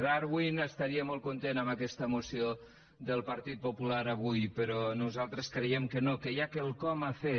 darwin estaria molt content amb aquesta moció del partit popular avui però nosaltres creiem que no que hi ha quelcom a fer